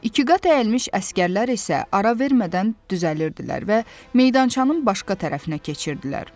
İkiqat əyilmiş əsgərlər isə ara vermədən düzəlirdilər və meydançanın başqa tərəfinə keçirdilər.